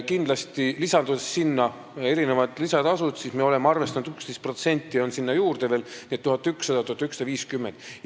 Kindlasti, kui lisada sinna kõikvõimalikud lisatasud, siis me oleme arvestanud, et 11% tuleb veel sinna juurde, nii et 1100–1150 eurot.